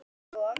Alveg eins og